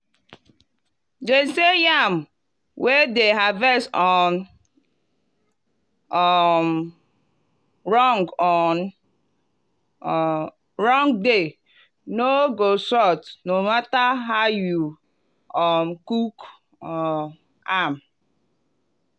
them say yam wey dem harvest on um wrong on um wrong day no go soft no matter how you um cook um am.